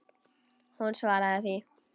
Hún svaraði því.